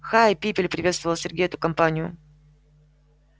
хай пипель приветствовал сергей эту компанию